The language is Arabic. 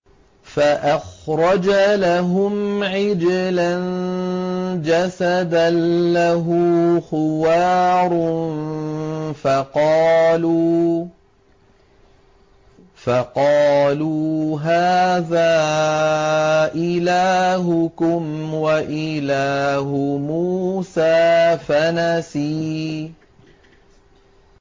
فَأَخْرَجَ لَهُمْ عِجْلًا جَسَدًا لَّهُ خُوَارٌ فَقَالُوا هَٰذَا إِلَٰهُكُمْ وَإِلَٰهُ مُوسَىٰ فَنَسِيَ